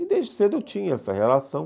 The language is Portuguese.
E desde cedo eu tinha essa relação.